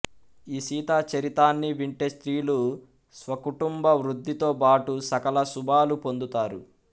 ఈ సీతా చరితాన్ని వింటే స్త్రీలు స్వకుటుంబ వృద్ధితోబాటు సకల శుభాలూ పొందుతారు